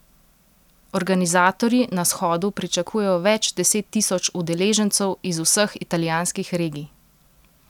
Organizatorji na shodu pričakujejo več deset tisoč udeležencev iz vseh italijanskih regij.